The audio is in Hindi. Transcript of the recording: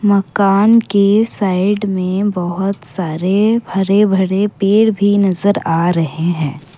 मकान के साइड में बहोत सारे हरे भरे पेड़ भी नजर आ रहे हैं।